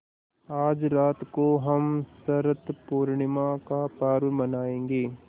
आज रात को हम शरत पूर्णिमा का पर्व मनाएँगे